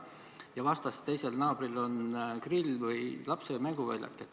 Äkki vastas teisel naabril on grillinurk või lapse mänguväljak.